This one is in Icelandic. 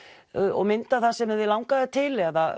og mynda það sem þig langaði til eða